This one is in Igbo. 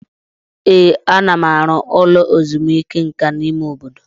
Ee, ana m arụ ụlọ ezumike nka n'ime obodo.